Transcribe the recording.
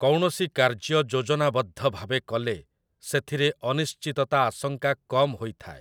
କୌଣସି କାର୍ଯ୍ୟ ଯୋଜନାବଦ୍ଧ ଭାବେ କଲେ ସେଥିରେ ଅନିଶ୍ଚିତତା ଆଶଙ୍କା କମ୍ ହୋଇଥାଏ ।